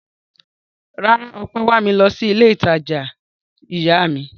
Rárá, Ọpẹ́ wà mí lọ sí ilé-ìtajà ìyá mi.